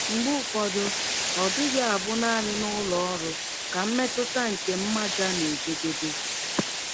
Mgbe ụfọdụ, ọ dịghị abụ nanị n’ụlọ ọrụ ka mmetụta nke mmaja na - ejedebe.